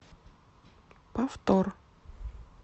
повтор